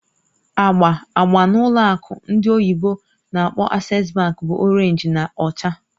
Agba agba n'ụlọ akụ ndị oyibo n'akpọ "Access bank" bụ Orénj na ọcha